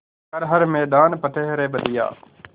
कर हर मैदान फ़तेह रे बंदेया